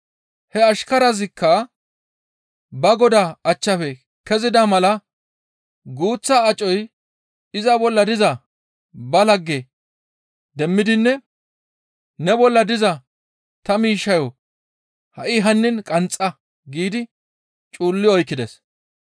«He ashkarazikka ba godaa achchafe kezida mala guuththa acoy iza bolla diza ba lagge demmidinne, ‹Ne bolla diza ta miishshayo ha7i hannin qanxxa› giidi cuulli oykkides.